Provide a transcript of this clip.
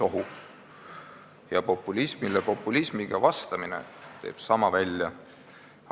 Populismile populismiga vastamine teeb sama välja.